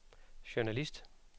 journalist